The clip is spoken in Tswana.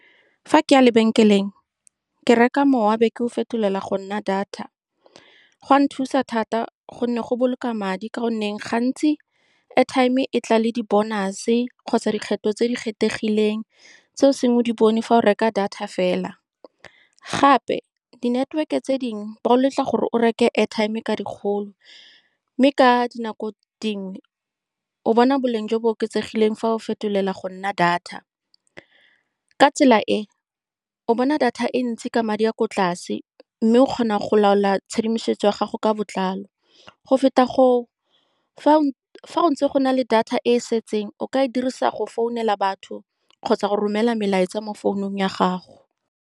Fa ke ya lebenkeleng, ke reka mowa, be ke o fetolela go nna data. Go a nthusa thata ka gonne go boloka madi, ka gonne gantsi airtime e tla le di bonus-se kgotsa dikgetho tse di kgethegileng tse o seng o di bone fa o reka data fela. Gape, di-network-e tse dingwe ba go letla gore o reke airtime ka dikgolo, mme ka dinako dingwe o bona boleng jo bo oketsegileng fa o fetolela go nna data ka tsela e, o bona data e ntsi ka madi a a ko tlase, mme o kgona go laola tshedimosetso ya gago ka botlalo go feta go, fa go ntse go na le data e e setseng, o ka e dirisa go founela batho kgotsa go romela melaetsa mo founung ya gago.